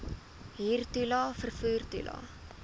huurtoelae vervoer toelae